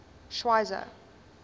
schweizer